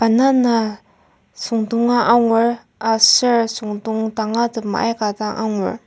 banana süngdonga angur aser süngdong danga tema aika dang angur.